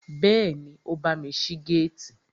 Bẹ́ẹ̀ni, ó bámi ṣí géètì